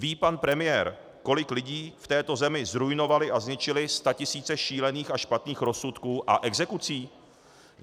Ví pan premiér, kolik lidí v této zemi zruinovaly a zničily statisíce šílených a špatných rozsudků a exekucí?